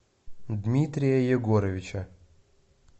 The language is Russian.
дмитрия егоровича